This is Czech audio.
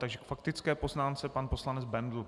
K faktické poznámce pan poslanec Bendl.